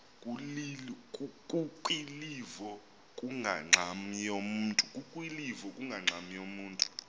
kukwilivo kungangxam yamntu